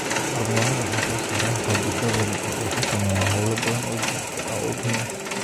Hormoonnada ay soo saaraan qanjidhadani waxay xakameeyaan hawlo badan oo jidhka ah oo muhiim ah.